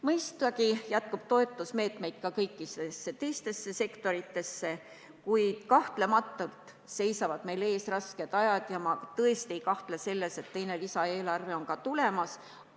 Mõistagi jätkub toetusmeetmeid ka kõikidesse teistesse sektoritesse, kuid kahtlemata seisavad meil ees rasked ajad ja ma tõesti ei kahtle selles, et teine lisaeelarve on ka tulemas.